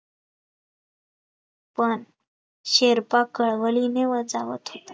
पण शेर्पा कळवलीने